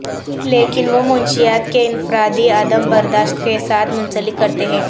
لیکن وہ منشیات کے انفرادی عدم برداشت کے ساتھ منسلک کرتے ہیں